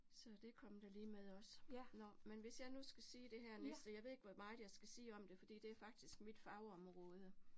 Så det kom da lige med også, nåh men hvis jeg nu skal sige det her næste, jeg ved ikke hvor meget jeg skal sige om det, fordi det faktisk mit fagområde